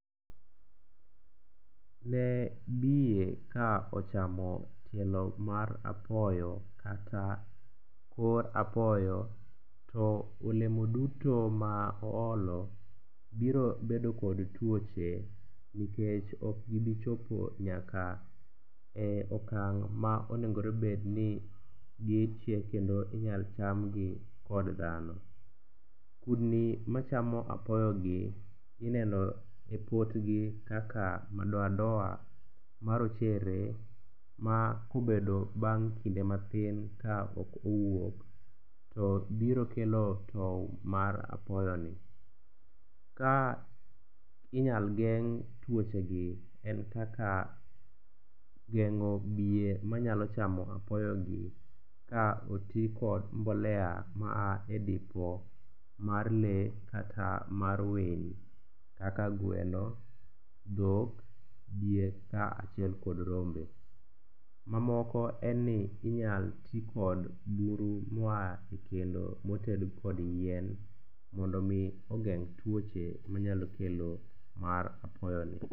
Ne biye ka ochamo tielo mar apoyo kata kor apoyo to olemo duto ma oolo biro bedo kod tuoche nikech okgibichopo nyaka e okang' ma onegonobed ni gichiek kendo inyalo chamgi kod dhano. Kudni machamo apoyogi ineno e potgi kaka madoadoa marochere ma kobedo bang' kinde mathin ka ok owuok to biro kelo tow mar apoyoni. Ka inyal geng' tuochegi en kaka geng'o biye manyalo chamo apoyogi ka oti kod mbolea maa dipo mar lee kata mara winy kaka gweno, dhok, diek kaachiel kod rombe. Mamoko en ni inyal tikod buru moa e kendo moted kod yien mondo omi ogeng' tuoche manyalo kelo mar apoyoni.